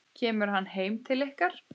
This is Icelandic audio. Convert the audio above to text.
Kemur hann heim til ykkar?